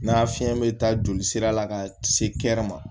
N'a fiɲɛ bɛ taa jolisira la ka se ke ma